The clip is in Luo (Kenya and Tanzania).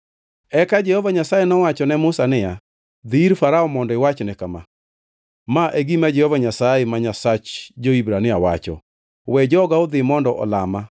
Eka Jehova Nyasaye nowacho ne Musa niya, “Dhi ir Farao mondo iwachne kama: ‘Ma e gima Jehova Nyasaye ma Nyasach jo-Hibrania wacho: “We joga odhi mondo olama!”